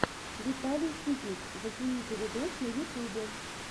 виталий ситник зацените видос на ютубе